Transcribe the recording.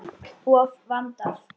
Of vandað.